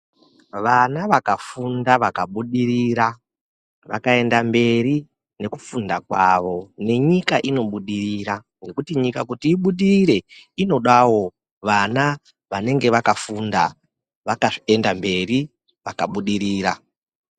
Vana vakafunda vakabudirira vakaenda mberi nekufunda kwavo nenyika inobudirira. Ngekuti nyika kuti ibudirire inodavo vana vanenge vakafunda vakaenda mberi vakabudirira.